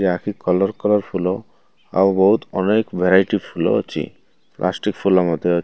colour colour ଫୁଲ ଆଉ ବହୁତ ଅନେକ ଭେରାଇଟି ଫୁଲ ଅଛି ପ୍ଲାଷ୍ଟିକ୍ ଫୁଲ ମଧ୍ୟ --